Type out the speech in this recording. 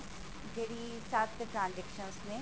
ਜਿਹੜੀ ਸੱਤ transactions ਨੇ